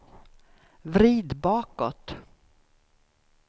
vrid bakåt